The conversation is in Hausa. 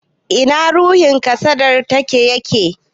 Ina ruhin kasadar taka yake?